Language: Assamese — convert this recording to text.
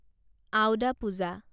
আওদা পূজা